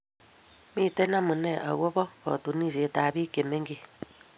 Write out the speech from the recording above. miten amune ako ba katunishen ab pik che mengechen